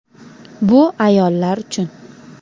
“Bu ayollar uchun”.